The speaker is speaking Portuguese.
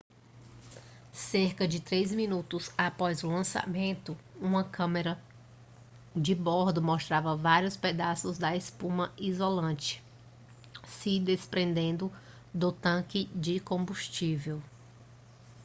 cerca de 3 minutos após o lançamento uma câmera de bordo mostrava várias pedaços da espuma isolante se desprendendo do tanque de combustível